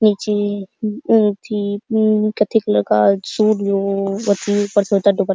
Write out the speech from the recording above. नीचे मम अथि मम कत्थी कलर का सूट जो ओथी ऊपर स्वेटर दुप्प --